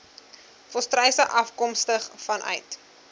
volstruise afkomstig vanuit